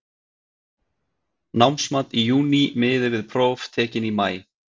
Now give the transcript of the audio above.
Námsmat í júní miði við próf tekin í maí.